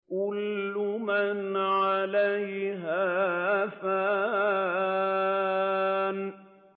كُلُّ مَنْ عَلَيْهَا فَانٍ